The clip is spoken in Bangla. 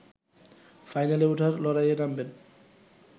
ফাইনালে ওঠার লড়াইয়ে নামবেন